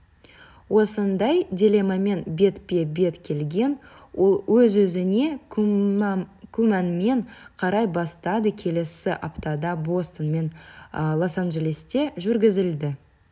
осындай дилеммамен бетпе-бет келген ол өз-өзіне күмәнмен қарай бастады келесі аптада бостон мен лос-анжелесте жүргізілді